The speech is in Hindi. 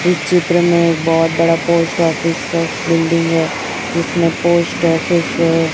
इस चित्र में एक बहुत बड़ा पोस्ट ऑफिस का बिल्डिंग है जिसमें पोस्ट ऑफिस --